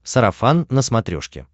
сарафан на смотрешке